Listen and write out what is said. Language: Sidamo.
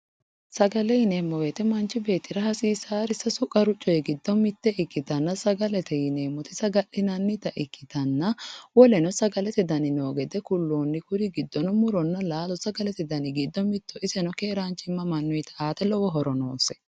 Sagale yineemmo woyte manchi beettira hasiisari sasu qaru coyi giddo mite ikkittanna sagalete yineemmoti saga'linannitta ikkittanna woleno sagalete dani no gede ku'lonni kuri giddono muronna laalo sagalete dani giddo mitto iseno keeranchima aate lowo horo noose.